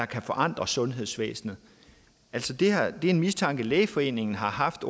kan forandre sundhedsvæsenet det er en mistanke lægeforeningen har haft